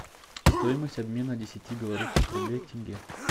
стоимость обмена десяти белорусских рублей к тенге